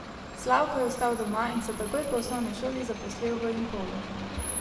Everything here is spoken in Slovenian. Slavko je ostal doma in se takoj po osnovni šoli zaposlil v Impolu.